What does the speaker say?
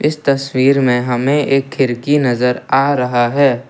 इस तस्वीर में हमें एक खिड़की नजर आ रहा है।